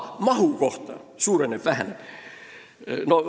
Mahust – kas see suureneb või väheneb?